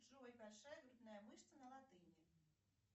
джой большая грудная мышца на латыни